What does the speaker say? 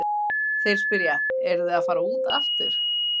Þeir spyrja, eruð þið að fara út aftur?